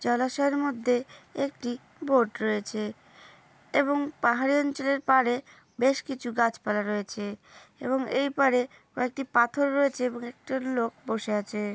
জলাশয়ের মধ্যে একটি বোট রয়েছে । এবং পাহাড়ি অঞ্চলের পাড়ে বেশকিছু গাছপালা রয়েছে এবং এই পাড়ে কয়েকটি পাথর রয়েছে এবং একটা লোক বসে আছে--